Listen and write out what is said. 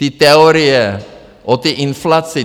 Ty teorie o té inflaci?